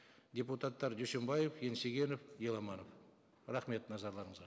депутаттар дүйсенбаев еңсегенов еламанов рахмет назарларыңызға